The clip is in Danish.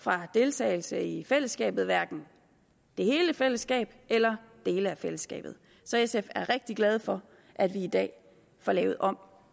fra deltagelse i fællesskabet hverken hele fællesskabet eller dele af fællesskabet så sf er rigtig glade for at vi i dag får lavet om